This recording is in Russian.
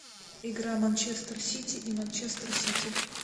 игра манчестер сити и манчестер сити